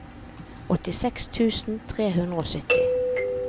åttiseks tusen tre hundre og sytti